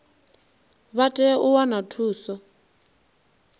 vha tea u wana thuso